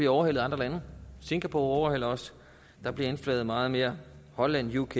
overhalet af andre lande singapore overhaler os der bliver indflaget meget mere holland uk